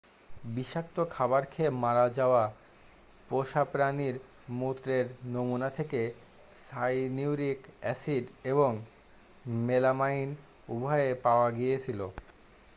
বিষাক্ত খাবার খেয়ে মারা যাওয়া পোষা প্রাণীর মূত্রের নমুনা থেকে সাইনিউরিক অ্যাসিড এবং মেলামাইন উভয়ই পাওয়া গিয়েছিল